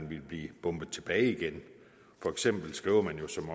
vil blive bombet tilbage igen for eksempel skriver man jo som